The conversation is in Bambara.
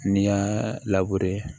N'i y'a